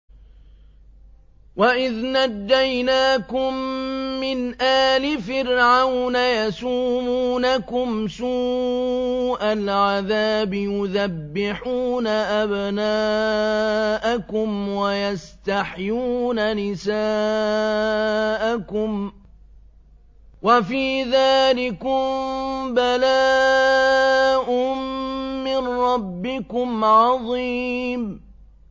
وَإِذْ نَجَّيْنَاكُم مِّنْ آلِ فِرْعَوْنَ يَسُومُونَكُمْ سُوءَ الْعَذَابِ يُذَبِّحُونَ أَبْنَاءَكُمْ وَيَسْتَحْيُونَ نِسَاءَكُمْ ۚ وَفِي ذَٰلِكُم بَلَاءٌ مِّن رَّبِّكُمْ عَظِيمٌ